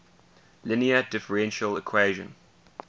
linear differential equation